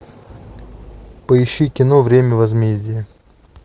поищи кино время возмездия